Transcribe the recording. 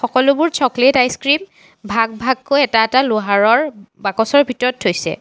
সকলোবোৰ chocolate ice cream ভাগ ভাগকৈ এটা এটা লোহাৰৰ বাকচৰ ভিতৰত থৈছে।